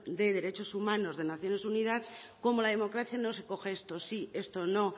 de derechos humanos de naciones unidas como la democracia no se coge esto sí esto no